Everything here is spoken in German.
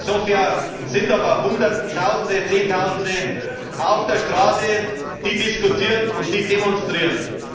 In Sofia sind aber Hunderttausende, Zehntausende auf der Straße, die diskutieren und die demonstrieren.